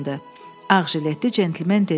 Ağjiletli centlmen dedi: